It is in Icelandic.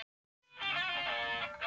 Kristján Már: Er það ekki vont?